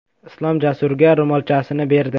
Islom Jasurga ro‘molchasini berdi.